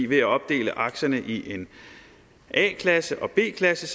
ved at opdele aktierne i a klasse og b klasse